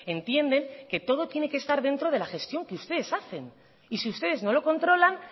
entienden que todo tiene que estar dentro de la gestión que ustedes hacen y si ustedes no lo controlan